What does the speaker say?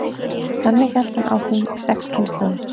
þannig hélt hann áfram í sex kynslóðir